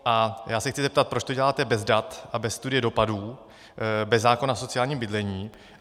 A já se chci zeptat, proč to děláte bez dat a bez studie dopadů, bez zákona o sociálním bydlení.